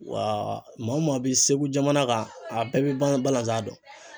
Wa maa o maa be segu jamana kan a bɛɛ be balan balanzan dɔn